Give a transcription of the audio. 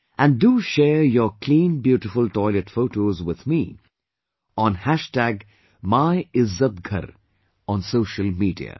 And do share your "clean beautiful toilet" photos with me on MylzzatGhar on social media